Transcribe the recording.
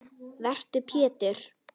Vertu Pétur.